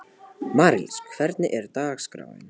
Marlís, hvernig er dagskráin?